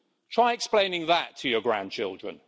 Try explaining that to your grandchildren.